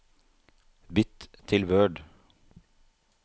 Bytt til Word